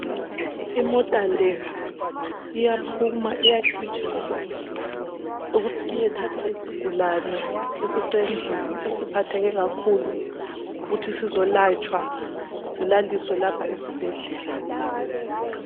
Imota le iyaphuma iyagijima ukuthi iyethatha isigulane esisendlini esesiphatheke kakhulu ukuthi sizolatshwa silalisiwe lapha esibhedlela.